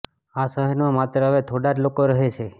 આ સહેરમાં માત્ર હવે થોડા જ લોકો રહે છે